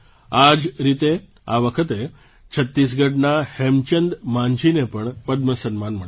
આ જ રીતે આ વખતે છત્તીસગઢના હેમચંદ માંઝીને પણ પદ્મ સન્માન મળ્યું છે